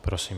Prosím.